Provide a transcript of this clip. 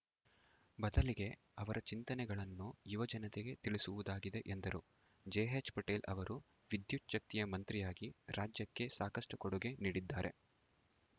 ಬದಲಿಗೆ ಅವರ ಚಿಂತನೆಗಳನ್ನು ಯುವಜನತೆಗೆ ತಿಳಿಸುವುದಾಗಿದೆ ಎಂದರು ಜೆಎಚ್‌ ಪಟೇಲ್‌ ಅವರು ವಿದ್ಯುತ್‌ಚ್ಛಕ್ತಿ ಮಂತ್ರಿಯಾಗಿ ರಾಜ್ಯಕ್ಕೆ ಸಾಕಷ್ಟುಕೊಡುಗೆ ನೀಡಿದ್ದಾರೆ